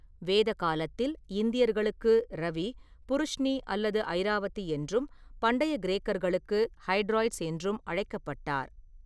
வேத காலத்தில் இந்தியர்களுக்கு ரவி புருஷ்னி அல்லது ஐராவதி என்றும் பண்டைய கிரேக்கர்களுக்கு ஹைட்ராயிட்ஸ் என்றும் அழைக்கப்பட்டார்.